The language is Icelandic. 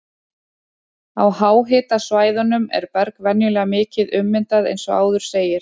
Á háhitasvæðunum er berg venjulega mikið ummyndað eins og áður segir.